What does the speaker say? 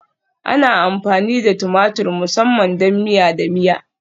Ana amfani da tumatur musamman don miya da miya